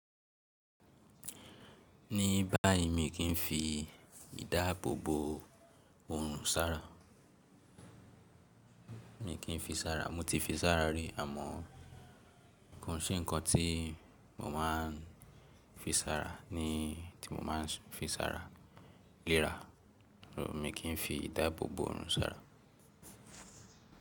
Ní bá yi mi kí n fi ìdáàbò bò òòrùn sára. Mi kì fi sára. Mo ti fi sára rí àmọ́ kàn ṣé ǹkan tí mo máa ń fi sára ní tí mo máa ń fi sára léra. Mi kí n fi ìdáàbò bò òòrùn sára.